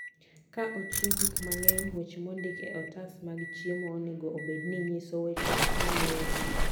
Ka ochiw gik mang'eny, weche mondik e otas mag chiemo onego obed ni nyiso weche maluwogi: